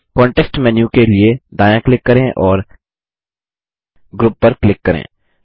context menu के लिए दायाँ क्लिक करें और ग्रुप पर क्लिक करें